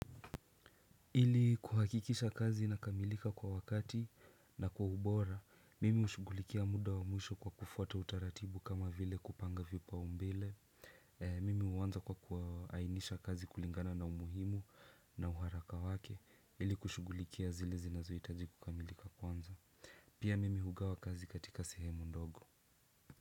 Ili kuhakikisha kazi inakamilika kwa wakati na kwa ubora, mimi hushughulikia muda wa mwisho kwa kufuata utaratibu kama vile kupanga vipaumbele. Mimi huanza kwa kuoainisha kazi kulingana na umuhimu na uharaka wake, ili kushughulikia zile zinazohitaji kukamilika kwanza. Pia mimi hugawa kazi katika sehemu ndogo.